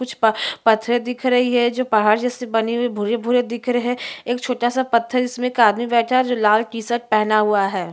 कुछ प पत्थर दिख रहे है जो पहाड़ में बने हुए भूरे-भूरे दिख रहे है एक छोटा सा पत्थर जिसमे एक आदमी बैठा है जो लाल के टीशर्ट पहना हुआ है।